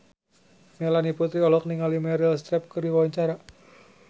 Melanie Putri olohok ningali Meryl Streep keur diwawancara